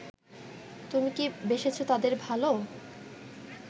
তুমি কি বেসেছো তাদের ভালো